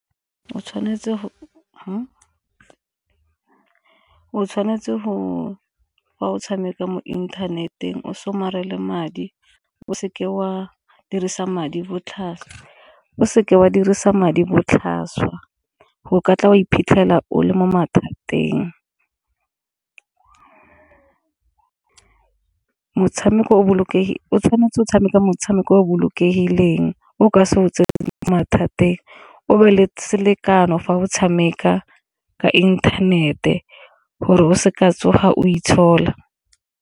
O tshwanetse ga o tshameka mo inthaneteng o somarele madi o seke wa dirisa madi botlhaswa, o seke wa dirisa madi botlhaswa go ka tla wa iphitlhela o le mo mathateng. O tshwanetse o tshameka motshameko o bolokengileng o ka se mathateng o be le selekano fa o tshameka ka inthanete gore o se ka tsoga o itshola.